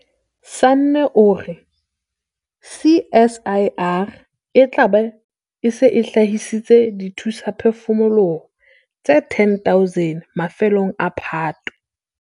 Sanne o re CSIR e tla be e se e hlahisitse dithusaphefumoloho tse 10 000 mafelong a Phato.